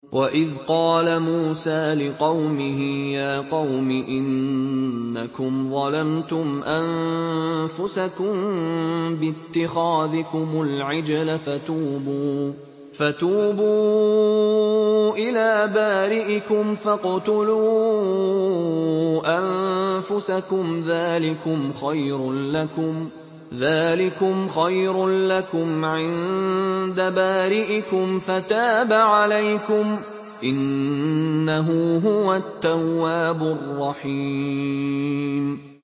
وَإِذْ قَالَ مُوسَىٰ لِقَوْمِهِ يَا قَوْمِ إِنَّكُمْ ظَلَمْتُمْ أَنفُسَكُم بِاتِّخَاذِكُمُ الْعِجْلَ فَتُوبُوا إِلَىٰ بَارِئِكُمْ فَاقْتُلُوا أَنفُسَكُمْ ذَٰلِكُمْ خَيْرٌ لَّكُمْ عِندَ بَارِئِكُمْ فَتَابَ عَلَيْكُمْ ۚ إِنَّهُ هُوَ التَّوَّابُ الرَّحِيمُ